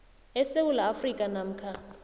esewula afrika namkha